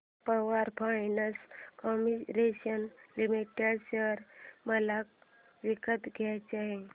power finance corporation limited share मला विकत घ्यायचे आहेत